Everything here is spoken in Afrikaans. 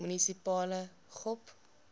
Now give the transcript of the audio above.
munisipale gop